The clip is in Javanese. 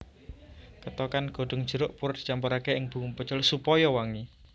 Kethokan godhong jeruk purut dicampuraké ing bumbu pecel supaya wangi